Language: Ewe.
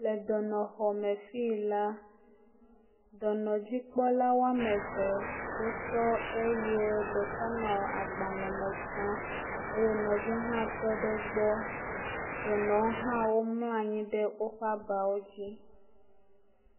Le dɔnɔxɔme le fi yi la dɔnɔdzikpɔlawo ame eve wo tɔ eye ɖeka nɔ agbalẽ me tsam eye nɔvia ha tɔɖe egbɔ dɔnɔwo ha mlɔ anyi ɖe woƒe abawo dzi